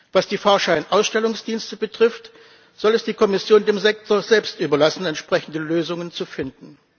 Was die Fahrscheinausstellungsdienste betrifft, soll es die Kommission dem Sektor selbst überlassen, entsprechende Lösungen zu finden.